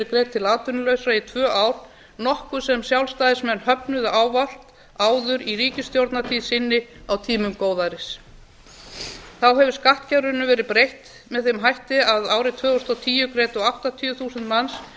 greidd til atvinnulausra í tvö ár nokkuð sem sjálfstæðismenn fögnuðu ávallt áður í ríkisstjórnartíð sinni á tímum góðæris þá hefur skattkerfinu verið breytt með þeim hætti að árið tvö þúsund og tíu greiddu áttatíu þúsund manns